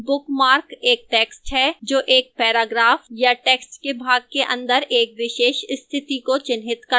bookmark एक text है जो एक paragraph या text के भाग के अंदर एक विशेष स्थिति को चिह्नित करता है